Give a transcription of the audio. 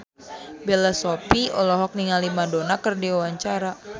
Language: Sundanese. Bella Shofie olohok ningali Madonna keur diwawancara